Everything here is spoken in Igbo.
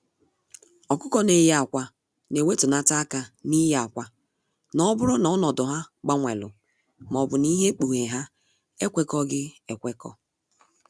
Ọkụkọ n'eyi akwa na ewetunata aka n'ịye akwa, n'oburu na ọnọdụ ha gbanwelu maọbu na ihe ikpughe ha ekwekọghi ekwekọ.